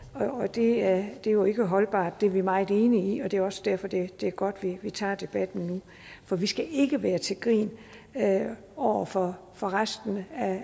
det er jo ikke holdbart det er vi meget enige i og det er også derfor det er godt at vi tager debatten nu for vi skal ikke være til grin over for for resten